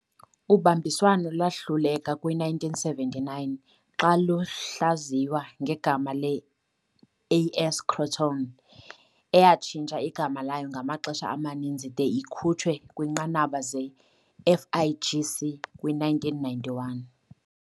Ubambiswano lwahluleka kwi-1979, xa luhlaziywa ngegama le-"AS Crotone", eyatshintsha igama layo ngamaxesha amaninzi de ikhutshwe kwiinqanaba ze-FIGC kwi-1991